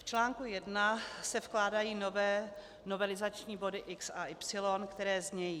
V článku I se vkládají nové novelizační body x) a y), které znějí: